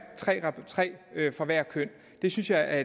tre af hvert køn det synes jeg er